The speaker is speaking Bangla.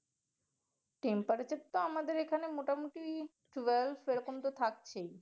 temperature তো আমাদের এখানে মোটামুটি twelve এরকমতো থাকছেই।